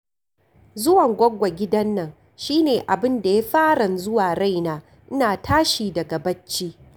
Zuwan goggo gidan nan shi ne abin da ya faran zuwa raina, ina tashi daga bacci